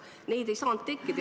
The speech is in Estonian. Neid ei saanud tekkida.